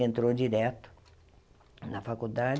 Entrou direto na faculdade.